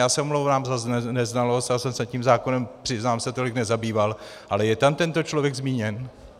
Já se omlouvám za neznalost, já jsem se tím zákonem, přiznám se, tolik nezabýval - ale je tam tento člověk zmíněn?